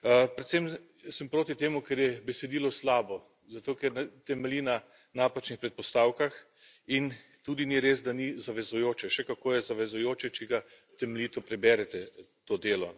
Predvsem sem proti temu, ker je besedilo slabo, zato ker temelji na napačnih predpostavkah, in tudi ni res, da ni zavezujoče, še kako je zavezujoče, če ga temeljito preberete, to delo.